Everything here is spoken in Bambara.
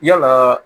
Yalaa